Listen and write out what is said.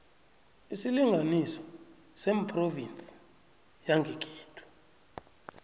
isilinganiso sephrovinsi yangekhenu